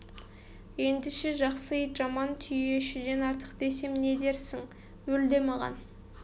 ендеше жақсы ит жаман түйешіден артық десем не дерсің өл де маған